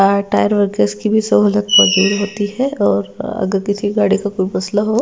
tyre workers की भी सोहलत मौजूद होती है और अगर किसी गाड़ी का कोई मसला हो--